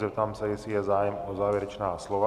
Zeptám se, jestli je zájem o závěrečná slova.